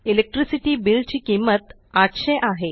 electricity bill ची किंमत 800 आहे